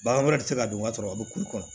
Bagan wɛrɛ tɛ se ka don ka sɔrɔ a bɛ kulikɔnɔ